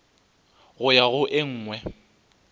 go ya go e nngwe